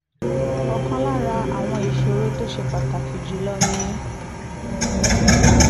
ọ̀kan lára àwọn ìṣòro tó ṣe pàtàkì jù lọ ni